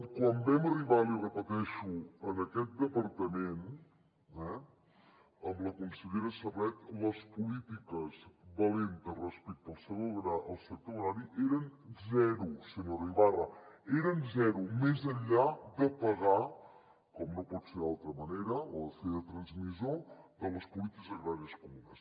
quan vam arribar l’hi repeteixo a aquest departament amb la consellera serret les polítiques valentes respecte al sector agrari eren zero senyora ibarra eren zero més enllà de pagar com no pot ser d’altra manera o de fer de transmissor de les polítiques agràries comunes